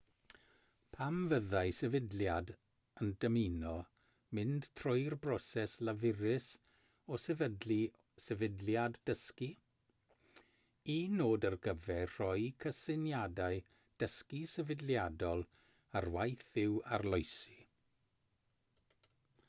pam fyddai sefydliad yn dymuno mynd trwy'r broses lafurus o sefydlu sefydliad dysgu un nod ar gyfer rhoi cysyniadau dysgu sefydliadol ar waith yw arloesi